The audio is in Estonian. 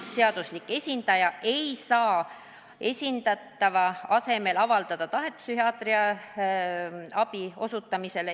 Seaduslik esindaja ei saa esindatava asemel avaldada tahet psühhiaatrilise abi osutamiseks.